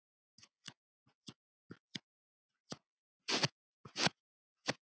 Þá mun vel fara.